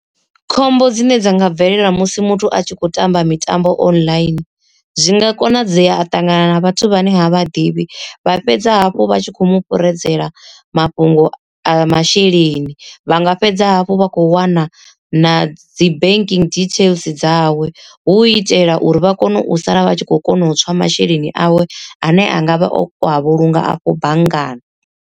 Khombo dzine dza nga bvelela musi muthu a tshi khou tamba mitambo online, zwi nga konadzea a ṱangana na vhathu vhane ha vhaḓivhi vha fhedza hafhu vha tshi kho mu fhuredzela mafhungo a masheleni, vha nga fhedza hafhu vha khou wana na dzi banking details dzawe hu itela uri vha kone u sala vha tshi khou kona u tswa masheleni awe ane a ngavha o a vhulunga afho banngani.